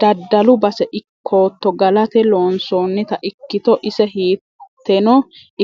Daddalu base ikkotto galate loonsonitta ikkitto ise hiiteno